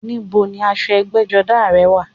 Ní bo ni aṣọ ẹgbẹ́jọdá rẹ̀ wà?